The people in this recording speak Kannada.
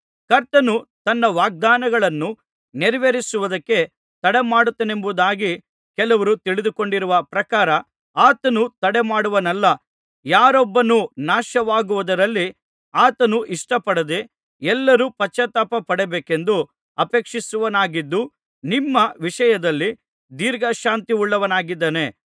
ಕರ್ತನು ತನ್ನ ವಾಗ್ದಾನಗಳನ್ನು ನೆರವೇರಿಸುವುದಕ್ಕೆ ತಡಮಾಡುತ್ತಾನೆಂಬುದಾಗಿ ಕೆಲವರು ತಿಳಿದುಕೊಂಡಿರುವ ಪ್ರಕಾರ ಆತನು ತಡಮಾಡುವವನಲ್ಲ ಯಾರೊಬ್ಬನೂ ನಾಶವಾಗುವುದರಲ್ಲಿ ಆತನು ಇಷ್ಟಪಡದೆ ಎಲ್ಲರೂ ಪಶ್ಚಾತ್ತಾಪ ಪಡಬೇಕೆಂದು ಅಪೇಕ್ಷಿಸುವವನಾಗಿದ್ದು ನಿಮ್ಮ ವಿಷಯದಲ್ಲಿ ದೀರ್ಘಶಾಂತಿಯುಳ್ಳವನಾಗಿದ್ದಾನೆ